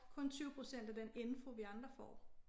Kun 20 procent af den info vi andre får